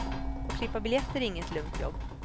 Att klippa biljetter är inget lugnt jobb.